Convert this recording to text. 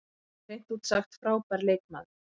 Hann er hreint út sagt frábær leikmaður.